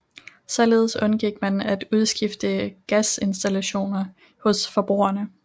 Således undgik man at udskifte gasinstallationer hos forbrugerne